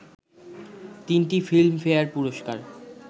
তিনটি Filmfare পুরস্কার